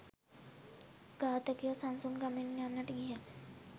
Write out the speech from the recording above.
ඝාතකයෝ සන්සුන් ගමනින් යන්නට ගියහ.